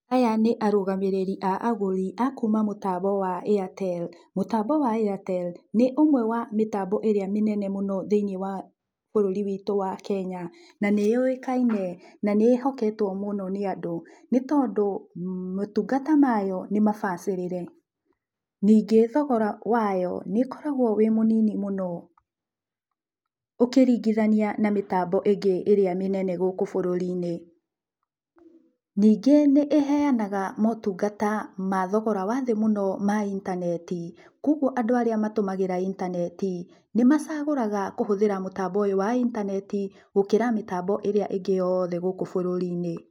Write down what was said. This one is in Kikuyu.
Aya nĩ arũgamĩrĩri a agũri akuma mũtambo wa Airtel. Mũtambo wa Airtel nĩũmwe wa mĩtambo ĩrĩa mĩnene mũno thĩiniĩ wa bũrũri witũ wa Kenya. Na nĩyũĩkaine na nĩĩhoketwo mũno nĩ andũ, nĩtondũ motungata mayo nĩmabacĩrire. Ningĩ thogora wayo nĩkoragũo wĩ mũnini mũno ũkĩringithania na mĩtambo ĩngi ĩrĩa mĩnene gũkũ bũrũri-inĩ. Ningĩ nĩ ĩheanaga motungata ma thogora wa thĩ mũno ma intaneti. Kuoguo andũ arĩa mahũthagĩra intaneti, nĩmacagũraga kũhũthĩra mũtambo ũyũ wa intaneti gũkĩra mĩtambo ĩrĩa ĩngĩ yothe gũkũ bũrũri-inĩ.